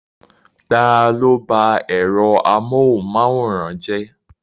Ta ló bá ẹ̀rọ amóhunmáwòrán jẹ́?